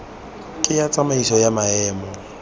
ke ya tsamaisano ya maemo